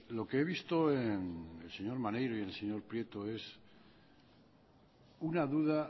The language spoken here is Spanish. lo que he visto en el señor maneiro y en el señor prieto es una duda